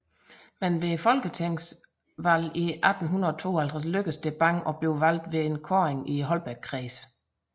Men ved folketingsvalget i 1852 lykkedes det Bang at blive valgt ved kåring i Holbækkredsen